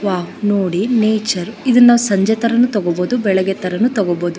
ಯಾ ನೋಡಿ ನೇಚರ್ ಇದನ್ನ ಸಂಜೆ ತರನು ತಗೋಬಹುದು ಬೆಳ್ಳಿಗ್ಗೆ ತರನು ತಗೋಬಹುದು.